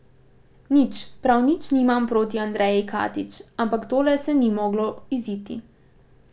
Nič, prav nič nimam proti Andreji Katič, ampak tole se ni moglo iziti.